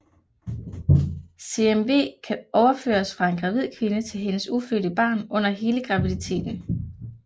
CMV kan overføres fra en gravid kvinde til hendes ufødte barn under hele graviditeten